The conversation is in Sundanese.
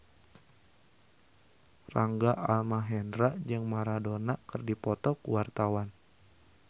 Rangga Almahendra jeung Maradona keur dipoto ku wartawan